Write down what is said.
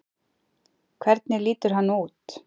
Hvernig lítur hann út?